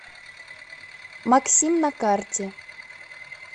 максим на карте